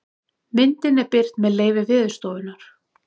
myndin er birt með leyfi veðurstofunnar